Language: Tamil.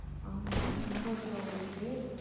ஆமா, நியாபகம் இருக்கா உங்களுக்கு?